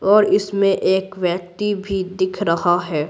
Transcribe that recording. और इसमें एक व्यक्ति भी दिख रहा है।